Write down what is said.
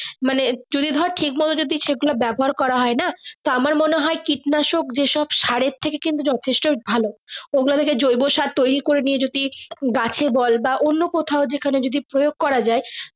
মানে যদি ধরে ঠিক ভাবে যদি ব্যবহার করা হয় না আমার মনে হয় কীটনাশক যে শোন্ স্যারের থেকে কিন্তু যথেষ্ট ভালো ওগুলো থেকে জয়ব সার তৈরি করে নিয়ে যদি গাছে বল না অন্য কোথাও যেকানে প্রয়োগ করা যাই।